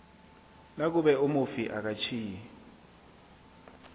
nakube umufi akatjhiyi